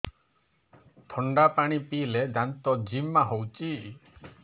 ଥଣ୍ଡା ପାଣି ପିଇଲେ ଦାନ୍ତ ଜିମା ହଉଚି